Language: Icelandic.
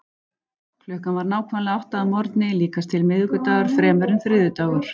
Klukkan var nákvæmlega átta að morgni, líkast til miðvikudagur fremur en þriðjudagur.